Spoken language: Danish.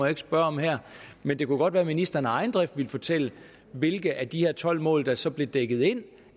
ikke spørge om her men det kunne godt være at ministeren af egen drift ville fortælle hvilke af de her tolv mål der så bliver dækket ind